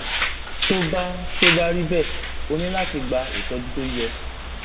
tó bá tó bá rí bẹẹ o ní láti gba ìtọjú tó yẹ